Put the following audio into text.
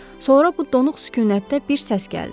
Sonra bu donuq sükunətdə bir səs gəldi.